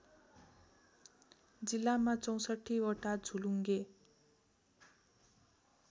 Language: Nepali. जिल्लामा ६४वटा झोलुङ्गे